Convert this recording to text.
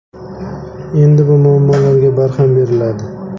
Endi bu muammolarga barham beriladi.